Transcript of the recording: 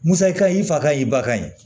Musa i ka i fa y'i ba kan ye